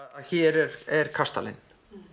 hér er er kastalinn